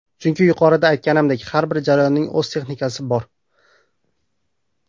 Chunki yuqorida aytganimdek, har bir jarayonning o‘z texnikasi bor.